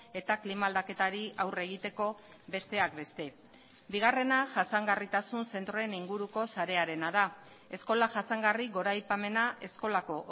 eta klima aldaketari aurre egiteko besteak beste bigarrena jasangarritasun zentroen inguruko sarearena da eskola jasangarri goraipamena eskolako